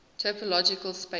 topological spaces